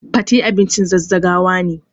Fate abincin zazzagawa ne.